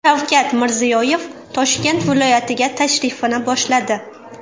Shavkat Mirziyoyev Toshkent viloyatiga tashrifini boshladi.